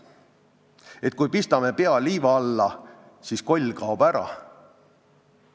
Et kui pistame pea liiva alla, siis koll kaob ära?